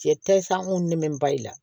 Cɛ ta san kun ne bɛ ba i la